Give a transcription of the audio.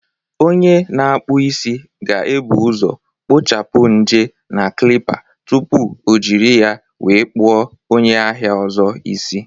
Onye na-akpụ isi ga-ebu ụzọ kpochapụ ñje na Klippa tupu O jiri ya wee kpuọ onye ahịa ọzọ isi